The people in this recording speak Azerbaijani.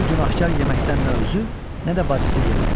Bu günahkar yeməkdən nə özü, nə də bacısı yemədi.